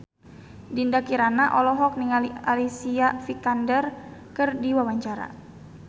Dinda Kirana olohok ningali Alicia Vikander keur diwawancara